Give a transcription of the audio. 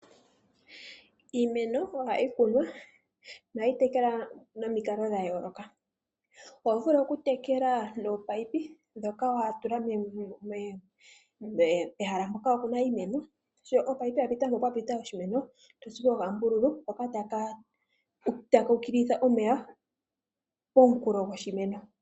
Iimeno ohayi kunwa nohayi tekelwa nomikalo dha yooloka oho vulu okutekela nominino ndhoka ho tula pehala mpoka wa kuna iimeno sho omunino gwa pita mpoka pwa pita oshimeno to tsupo okambululu hoka taku ukililitha omeya poonkulo dhoshimeno.